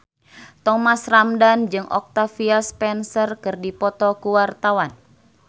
Thomas Ramdhan jeung Octavia Spencer keur dipoto ku wartawan